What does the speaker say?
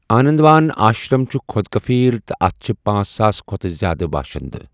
آنندوان آشرم چھُ خود کفیل تہٕ اتھ چھِ پانژھ ساس کھۅتہٕ زیادٕ باشندٕ۔